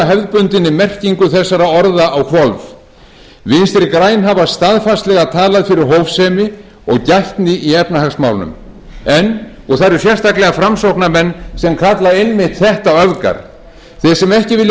hefðbundinni merkingu þessara orða á hvolf vinstri græn hafa staðfastlega talað fyrir hófsemi og gætni í efnahagsmálum og það eru sérstaklega framsóknarmenn sem kalla einmitt þetta öfgar þeir sem ekki vilja